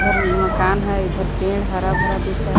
उधर मकान है इधर पेड़ हरा भरा दिख रहा--